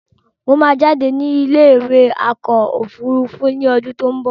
Mo máa jáde ní ilé ìwé awakọ̀ òfúrúúfú ni ọdún tí ó ń bọ̀